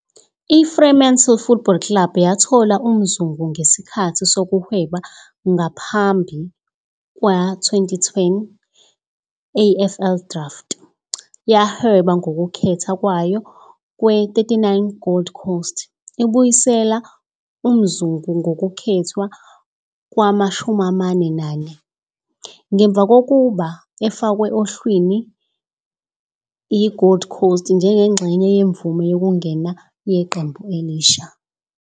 I- Fremantle Football Club yathola uMzungu ngesikhathi sokuhweba ngaphambi kwe- 2010 AFL Draft, yahweba ngokukhetha kwayo kwe-39 Gold Coast, ibuyisela uMzungu nokukhethwa kwama-44, ngemva kokuba efakwe ohlwini yi-Gold Coast njengengxenye yemvume yokungena yeqembu elisha.